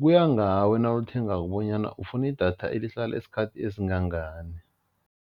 kuya ngawe nawulithengako bonyana ufuna idatha elihlala isikhathi esingangani.